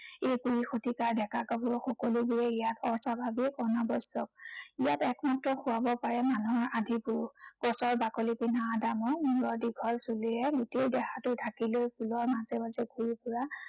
এই কুৰি শতিকাৰ ডেকা গাভৰু সকলোবোৰে ইয়াত অস্বাভাৱিক, অনাবস্ত্ৰ। ইযাত একমাত্ৰ শুৱাব পাৰে মানুহৰ আদি পুৰুষ। গছৰ বাকলি পিন্ধা আদামৰ মূৰত দীঘল চুলিৰে গোটেই দেহাটো ঢাকি লৈ ফুলৰ মাজে মাজে ঘূৰি ফুৰা